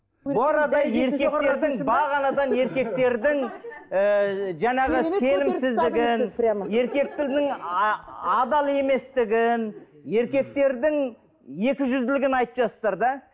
бағанадан еркектердің ыыы жаңағы еркектердің адал еместігін еркектердің екіжүзділігін айтып жатырсыздар да